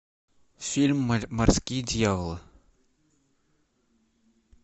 фильм морские дьяволы